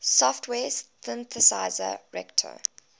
software synthesizer reaktor